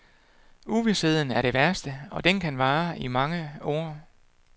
Uvisheden er det værste, og den kan vare i mange år.